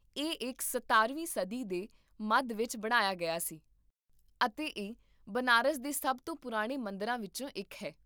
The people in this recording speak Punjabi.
ਇਹ ਇਕ ਸਤਾਰਵੀਂ ਸਦੀ ਦੇ ਮੱਧ ਵਿੱਚ ਬਣਾਇਆ ਗਿਆ ਸੀ, ਅਤੇ ਇਹ ਬਨਾਰਸ ਦੇ ਸਭ ਤੋਂ ਪੁਰਾਣੇ ਮੰਦਰਾਂ ਵਿੱਚੋਂ ਇੱਕ ਹੈ